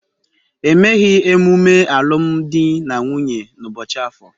Emeghị emume alụmdi na nwunye n'ụbọchị Afor.